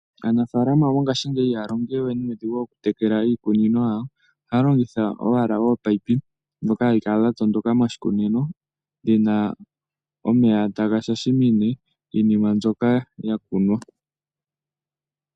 Aanafaalama ngaashingeyi ihaaya longo we nuudhigu oku tekela iikunino. Ohaya longitha opaipi dha tondoka moshikunino dhina omeya taga shashimine iimeno mbyoka ya kunwa.